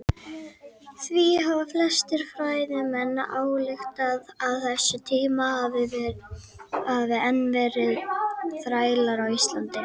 Því hafa flestir fræðimenn ályktað að á þessum tíma hafi enn verið þrælar á Íslandi.